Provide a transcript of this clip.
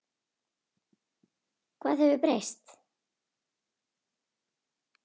Hvað hefur breyst?